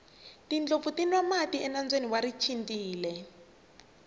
tindlopfu ti nwa mati enambyeni wa richindzile